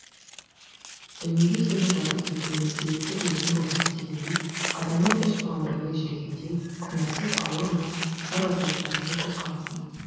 дүниеге келмей жатып кетуіме себепкер өзің болдың дегендей адамның іші бауыры елжірегендей күнәсіз ауыр мұң наразылық бар еді көз қарасында